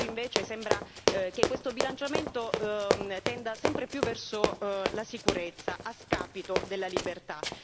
Oggi invece sembra che questo bilanciamento tenda sempre più verso la sicurezza a scapito della libertà.